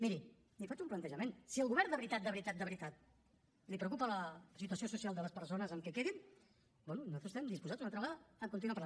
miri li faig un plantejament si al govern de veritat de veritat de veritat el preocupa la situació social de les persones amb què quedin bé nosaltres estem disposats una altra vegada a continuar parlant